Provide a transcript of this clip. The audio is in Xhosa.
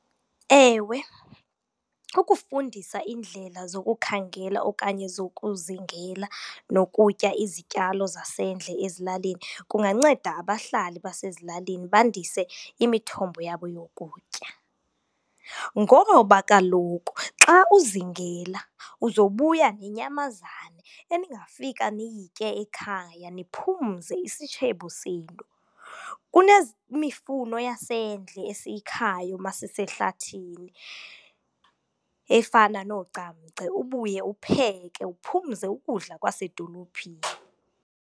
Ewe, ukufundisa iindlela zokukhangela okanye zokuzingela nokutya izityalo zasendle ezilalini kunganceda abahlali basezilalini bandise imithombo yabo yokutya. Ngoba kaloku xa uzingela uzobuya nenyamazana eningafika niyitye ekhaya niphumze isitshebo senu. mifuno yasendle esiyikhayo uma sisehlathini efana noogcamgce, ubuye uwupheke uphumze ukudla kwasedolophini.